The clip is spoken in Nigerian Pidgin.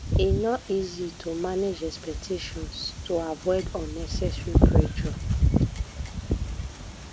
e no easy to manage expectations to avoid unnecessary pressure